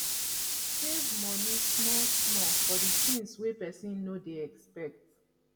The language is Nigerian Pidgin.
save money small small for di things wey person no dey expect